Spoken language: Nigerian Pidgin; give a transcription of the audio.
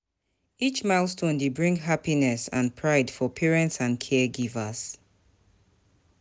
Each milestone dey bring happiness and pride for parents and caregivers.